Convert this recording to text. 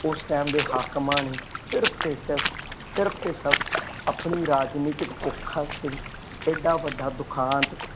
ਉਸ ਟੈਮ ਦੇ ਹਾਕਮਾਂ ਨੇ ਸਿਰਫ ਤੇ ਸਿਰਫ ਸਿਰਫ ਤੇ ਸਿਰਫ ਆਪਣੀ ਰਾਜਨੀਤਿਕ ਭੁੱਖ ਵਾਸਤੇ ਐਡਾਂ ਵੱਡਾ ਦੁਖਾਂਤ,